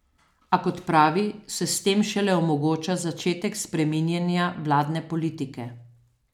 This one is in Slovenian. A kot pravi, se s tem šele omogoča začetek spreminjanja vladne politike.